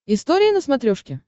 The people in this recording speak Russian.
история на смотрешке